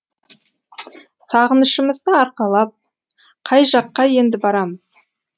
сағынышымызды арқалап қай жаққа енді барамыз